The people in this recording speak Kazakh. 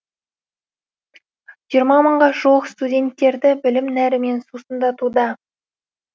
жиырма мыңға жуық студенттерді білім нәрімен сусындатуда